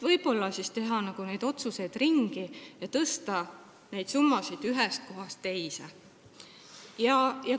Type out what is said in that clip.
Võib-olla võiks teha need otsused ümber ja tõsta need summad ühest kohast teise.